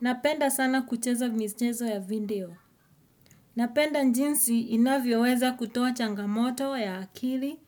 Napenda sana kucheza michezo ya video. Napenda jinsi inavyoweza kutoa changamoto ya akili